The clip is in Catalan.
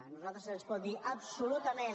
a nosaltres se’ns pot dir absolutament